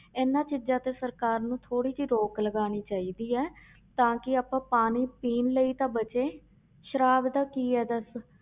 ਇਹਨਾਂ ਚੀਜ਼ਾਂ ਤੇ ਸਰਕਾਰ ਨੂੰ ਥੋੜ੍ਹੀ ਜਿਹੀ ਰੋਕ ਲਗਾਉਣੀ ਚਾਹੀਦੀ ਹੈ ਤਾਂ ਕਿ ਆਪਾਂ ਪਾਣੀ ਪੀਣ ਲਈ ਤਾਂ ਬਚੇ, ਸਰਾਬ ਦਾ ਕੀ ਹੈ ਦੱਸ